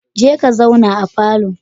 Je ka zauna a falo.